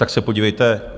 Tak se podívejte.